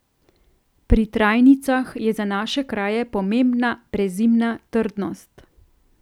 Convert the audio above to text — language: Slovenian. Pri trajnicah je za naše kraje pomembna prezimna trdnost.